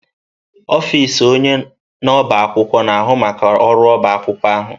Ọfịs onye na-ọbá akwụkwọ na-ahụ maka ọrụ ọbá akwụkwọ ahụ.